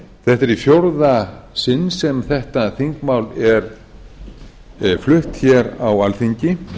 þetta er í fjórða sinn sem þetta þingmál er flutt hér á alþingi